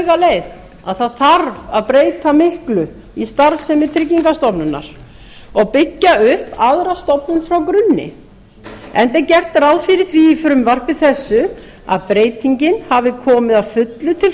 leið að það þarf að breyta miklu í starfsemi tryggingastofnunar og að byggja upp aðra stofnun frá grunni enda er gert ráð fyrir því í frumvarpi þessu að breytingin hafi komið að fullu til